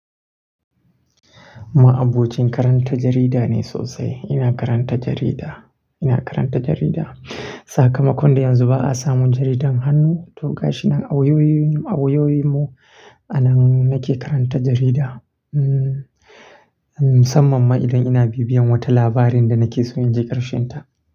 Ma'abocin karanta jarida ne sosai ina karanta jarida. Sakamakon da yanzu ba a samun jaridan hannu, to gashi nan a wayoyinmu, a nan nake karanta jarida. Hmm, musamman ma idan ina bibiyan wata labarin da nake son in ji ƙarshen ta.